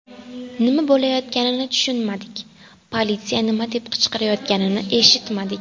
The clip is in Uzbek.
Nima bo‘layotganini tushunmadik, politsiya nima deb qichqirayotganini eshitmadik.